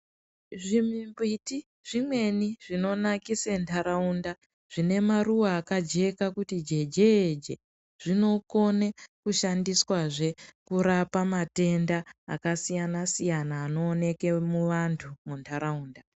Zvimimbiti zvimweni zvinonakise ntaraunda zvine maruwa akajeka kuti jejeje zvinokone kushandiswazve kurapa matenda akasiyana siyana anooneke muvantu muntaraunda.